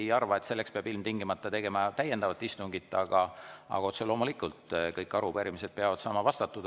Ma ei arva, et selleks peab ilmtingimata tegema täiendava istungi, aga otse loomulikult kõik arupärimised peavad saama vastatud.